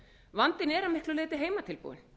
vandinn er að miklu leyti heimatilbúinn